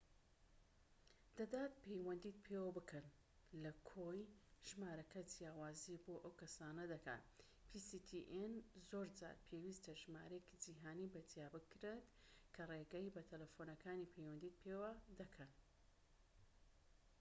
زۆر جار پێویستە ژمارەیەکی جیهانی بە جیا بکڕیت کە ڕێگە بە تەلەفۆنەکانی pstn دەدات پەیوەندیت پێوە بکەن لە کوێ ژمارەکە جیاوازی بۆ ئەو کەسانە دەکات پەیوەندیت پێوە دەکەن